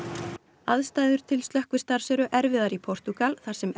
aðstæður til slökkvistarfs eru erfiðar í Portúgal þar sem enn